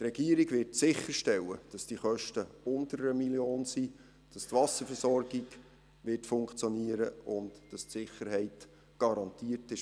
Die Regierung wird sicherstellen, dass die Kosten unter 1 Mio. Franken liegen, dass die Wasserversorgung funktionieren wird und dass die Sicherheit garantiert ist.